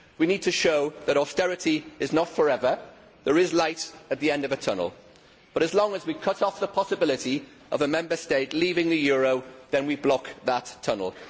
We need to show that austerity is not forever, that there is light at the end of a tunnel but, as long as we cut off the possibility of a Member State leaving the euro, then we block that tunnel.